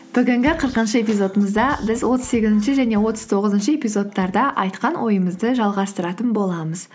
бүгінгі қырқыншы эпизодымызда біз отыз сегізінші және отыз тоғызыншы эпизодтарда айтқан ойымызды жалғастыратын боламыз